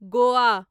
Goa